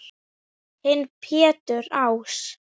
Þinn Pétur Ás.